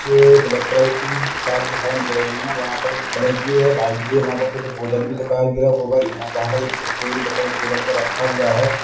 जे black colour की कार दिखाई दे रही है वहाँ पर ब्लैक भी है व्हाइट भी है वहाँ पर कुछ बोतल भी दिखाई दे रहे है और वहाँ पर एक स्टे भी दिखाई टेबल पर रखा हुआ है।